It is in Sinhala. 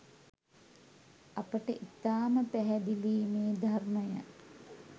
අපට ඉතාම පැහැදිලියි මේ ධර්මය